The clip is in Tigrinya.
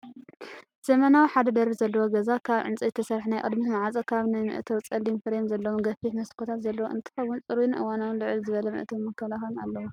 ዘመናዊ ሓደ ደርቢ ዘለዎ ገዛ ካብ ዕንጨይቲ ዝተሰርሐ ናይ ቅድሚት ማዕፆ ካብ ናይቲ መእተዊ ጸሊም ፍሬም ዘለዎም ገፊሕ መስኮታት ዘለዎ እንትከውን፣ ጽሩይን እዋናውን ልዕል ዝበለ መእተዊን መከላኸሊን ኣለዎ።